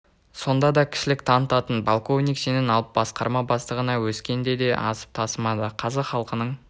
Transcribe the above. сонда да кішілік танытатын полковник шенін алып басқарма бастығына өскенде де асып тасымады қазақ халқының